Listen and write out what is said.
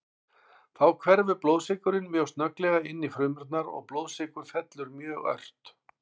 Þá hverfur blóðsykurinn mjög snögglega inn í frumurnar og blóðsykur fellur mjög ört.